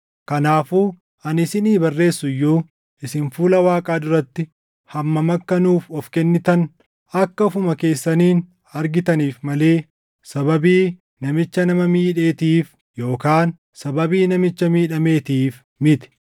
Kanaafuu ani isinii barreessu iyyuu, isin fuula Waaqaa duratti hammam akka nuuf of kennitan akka ofuma keessaniin argitaniif malee sababii namicha nama miidheetiif yookaan sababii namicha miidhameetiif miti.